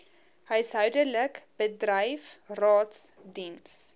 huishoudelik bedryf raadsdiens